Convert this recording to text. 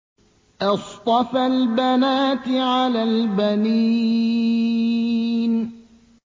أَصْطَفَى الْبَنَاتِ عَلَى الْبَنِينَ